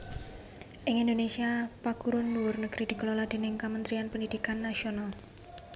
Ing Indonésia paguron dhuwur negri dikelola déning Kamentrian Pendhidhikan Nasional